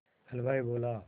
हलवाई बोला